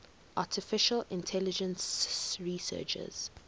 artificial intelligence researchers